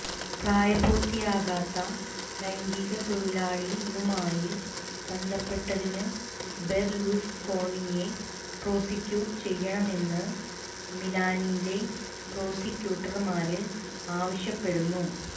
പ്രായ പൂര്ത്തിയാകാത്ത ലൈംഗികത്തൊഴിലാളിയുമായി ബന്ധപ്പെട്ടതിനു ബെര്ലുസ്കോണിയെ പ്രോസിക്യൂട്ട് ചെയ്യണമെന്നു മിലാനിലെ പ്രോസിക്യൂട്ടര്മാര് ആവശ്യപ്പെടുന്നു